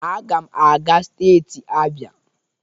Aga m aga steeti Abia.